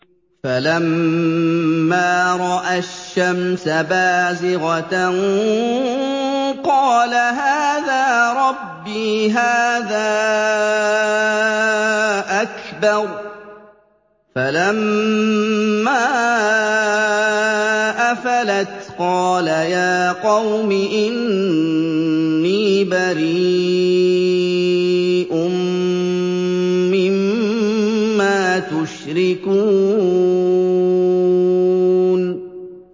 فَلَمَّا رَأَى الشَّمْسَ بَازِغَةً قَالَ هَٰذَا رَبِّي هَٰذَا أَكْبَرُ ۖ فَلَمَّا أَفَلَتْ قَالَ يَا قَوْمِ إِنِّي بَرِيءٌ مِّمَّا تُشْرِكُونَ